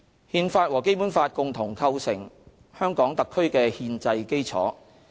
《憲法》和《基本法》共同構成香港特區的憲制基礎。